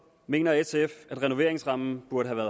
mener sf at renoveringsrammen burde have